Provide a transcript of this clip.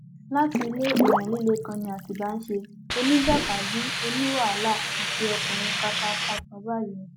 láti ilé èèyàn líle kan ni atibá ń ṣe oníjàkadì oníwàhálà àti ọkùnrin kàkààkà kan báyìí ni